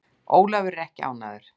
Ólafur er ekki ánægður.